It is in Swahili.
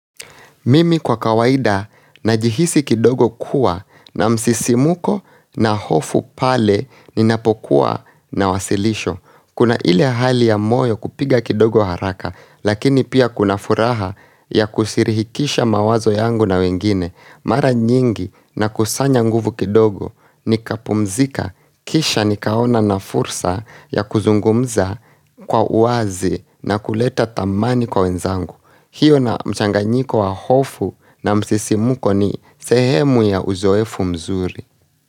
Mimi kwa kawaida najihisi kidogo kuwa na msisimuko na hofu pale ninapokuwa na wasilisho. Kuna ile hali ya moyo kupiga kidogo haraka lakini pia kuna furaha ya kushirihikisha mawazo yangu na wengine. Mara nyingi na kusanya nguvu kidogo nikapumzika kisha nikaona na fursa ya kuzungumza kwa uazi na kuleta tamani kwa wenzangu. Hiyo na mchanganyiko wa hofu na msisimuko ni sehemu ya uzoefu mzuri.